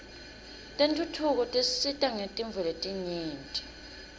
tentfutfuko tisisita ngetintfo letinyenti